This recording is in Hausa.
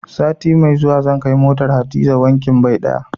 Sati mai zuwa zan kai motar Hadiza wankin bai ɗaya.